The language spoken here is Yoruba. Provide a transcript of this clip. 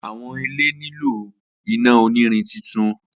Awọn ile nilo titun ina onirin